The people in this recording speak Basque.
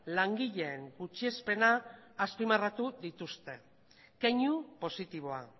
langileen gutxiespena azpimarratu dituzte keinu positiboa